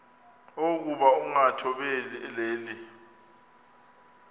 okokuba ukungathobeli le